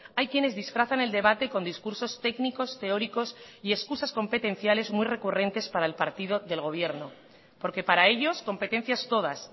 hay quienes disfrazan el debate con discursos técnicos teóricos y excusas competenciales muy recurrentes para el partido del gobierno porque para ellos competencias todas